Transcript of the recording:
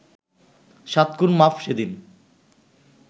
সাত খুন মাফ সেদিন